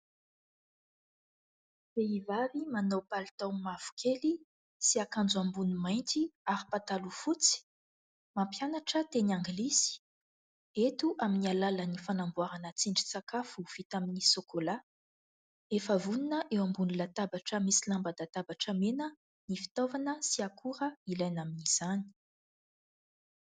Vehivavy manao palitao mavokely sy akanjo ambony mainty ary pataloha fotsy. Mampianatra teny angilisy, eto amin'ny alalan'ny fanamboarana tsindrin-sakafo vita amin'ny sôkôlà; efa vonona eo ambony latabatra misy lamban-databatra mena : ny fitaovana sy akora ilaina amin'izany.